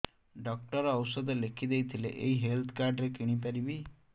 doctor ଔଷଧ ଲେଖିଦେଇଥିଲେ ଏଇ ହେଲ୍ଥ କାର୍ଡ ରେ କିଣିପାରିବି